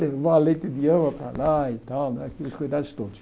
Levar leite de ama para lá e tal, né aqueles cuidados todos.